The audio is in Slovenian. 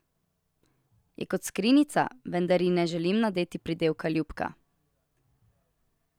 Je kot skrinjica, vendar ji ne želim nadeti pridevnika ljubka.